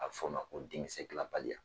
A bɛ f'o ma ko denkisɛdilanbaliya